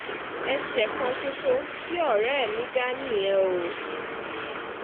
ẹsẹ kan ṣoṣo tí ọ̀rẹ́ mi dá nìyẹn o